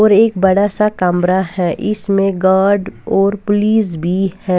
और एक बड़ा सा कमरा है इसमें गार्ड और पुलिस भी है।